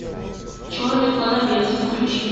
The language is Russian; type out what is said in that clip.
черный клановец включи